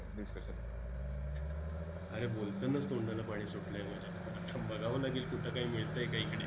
अरे बोलतानाच तोंडाला पाणी सुटलंय माझ्या आता बघावं लागेल कुठं काय मिळतंय काय इकडे.